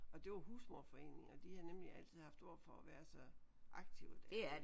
Og det var Husmoderforeningen og de har nemlig altid haft ord for at være så aktive derude